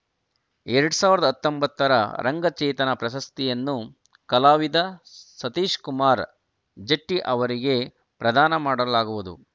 ಎರಡ್ ಸಾವಿರದ ಹತ್ತೊಂಬತ್ತರ ರಂಗಚೇತನ ಪ್ರಶಸ್ತಿಯನ್ನು ಕಲಾವಿದ ಸತೀಶ್‌ಕುಮಾರ್‌ ಜಟ್ಟಿಅವರಿಗೆ ಪ್ರದಾನ ಮಾಡಲಾಗುವುದು